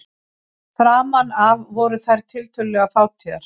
Framan af voru þær tiltölulega fátíðar.